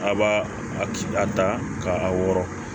A b'a a ta ka a wɔrɔ